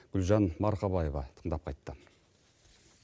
гүлжан марқабаева тыңдап қайтты